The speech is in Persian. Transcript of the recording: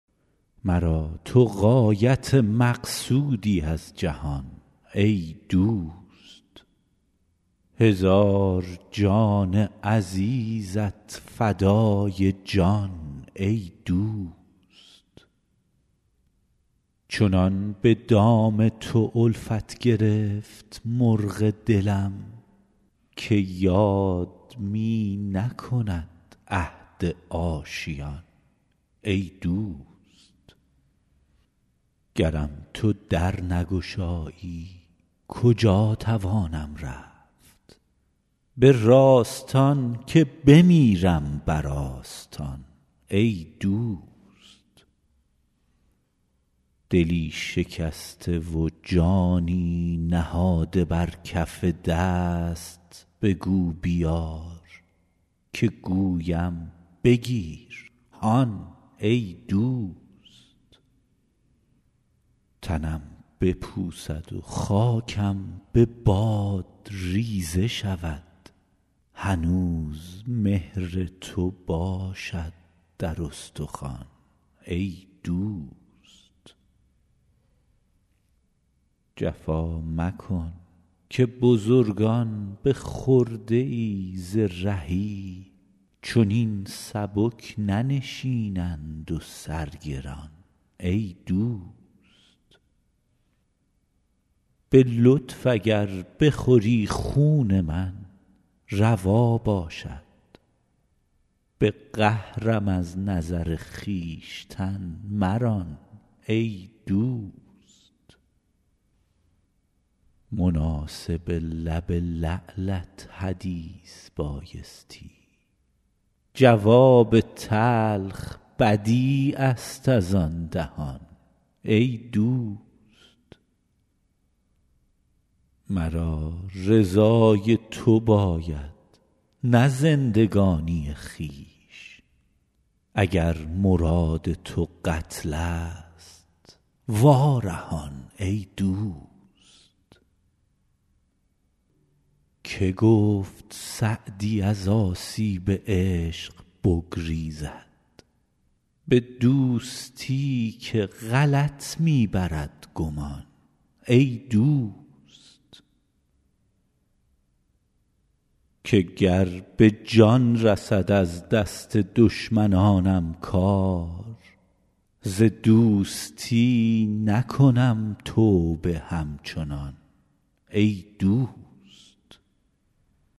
مرا تو غایت مقصودی از جهان ای دوست هزار جان عزیزت فدای جان ای دوست چنان به دام تو الفت گرفت مرغ دلم که یاد می نکند عهد آشیان ای دوست گرم تو در نگشایی کجا توانم رفت به راستان که بمیرم بر آستان ای دوست دلی شکسته و جانی نهاده بر کف دست بگو بیار که گویم بگیر هان ای دوست تنم بپوسد و خاکم به باد ریزه شود هنوز مهر تو باشد در استخوان ای دوست جفا مکن که بزرگان به خرده ای ز رهی چنین سبک ننشینند و سر گران ای دوست به لطف اگر بخوری خون من روا باشد به قهرم از نظر خویشتن مران ای دوست مناسب لب لعلت حدیث بایستی جواب تلخ بدیع است از آن دهان ای دوست مرا رضای تو باید نه زندگانی خویش اگر مراد تو قتل ست وا رهان ای دوست که گفت سعدی از آسیب عشق بگریزد به دوستی که غلط می برد گمان ای دوست که گر به جان رسد از دست دشمنانم کار ز دوستی نکنم توبه همچنان ای دوست